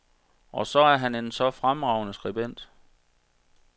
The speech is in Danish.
Og så er han en så fremragende skribent.